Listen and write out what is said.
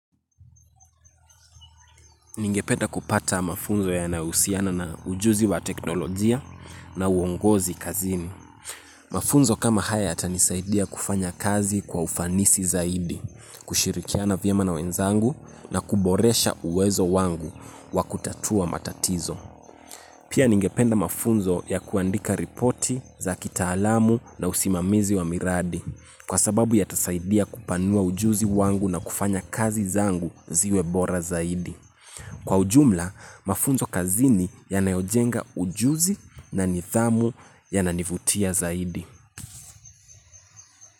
Ningependa kupata mafunzo yanayohusiana na ujuzi wa teknolojia na uongozi kazini. Mafunzo kama haya yatanisaidia kufanya kazi kwa ufanisi zaidi, kushirikiana vyema na wenzangu na kuboresha uwezo wangu wa kutatua matatizo. Pia ningependa mafunzo ya kuandika ripoti za kitaalamu na usimamizi wa miradi kwa sababu yatasaidia kupanua ujuzi wangu na kufanya kazi zangu ziwe bora zaidi. Kwa ujumla, mafunzo kazini yanayojenga ujuzi na nidhamu yananivutia zaidi.